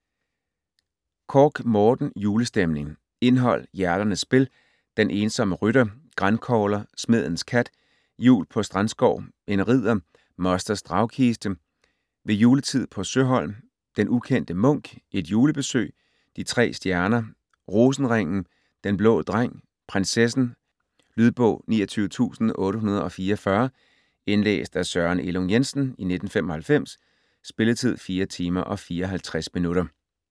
Korch, Morten: Julestemning Indhold: Hjerternes spil ; Den ensomme rytter ; Grankogler ; Smedens kat ; Jul på Strandskov ; En ridder ; Mosters dragkiste ; Ved juletid på Søholm ; Den ukendte munk ; Et julebesøg ; De tre stjerner ; Rosenringen ; Den blå dreng ; Prinsessen. Lydbog 29844 Indlæst af Søren Elung Jensen, 1995. Spilletid: 4 timer, 54 minutter.